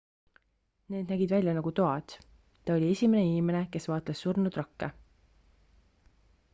need nägid välja nagu toad ta oli esimene inimene kes vaatles surnud rakke